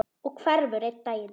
Og hverfur einn daginn.